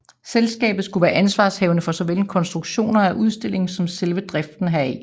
Selskabet skulle være ansvarshavende for såvel konstruktionen af udstillingen som selve driften heraf